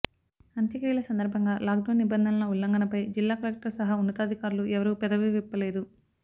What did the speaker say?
అంత్యక్రియల సందర్భంగా లాక్డౌన్ నిబంధనల ఉల్లంఘనపై జిల్లా కలెక్టర్ సహా ఉన్నతాధికారులు ఎవరూ పెదవివిప్పలేదు